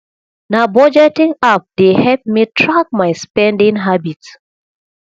na budgeting app dey help me track my spending habit